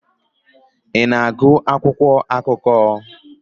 Ị na-agụ akwụkwọ akụkọ?